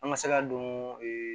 An ka se ka don